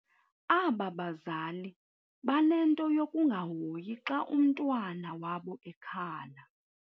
Aba bazali banento yokungahoyi xa umntwana wabo ekhala.